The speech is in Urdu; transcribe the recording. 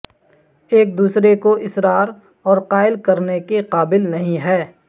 ایک دوسرے کو اصرار اور قائل کرنے کے قابل نہیں ہے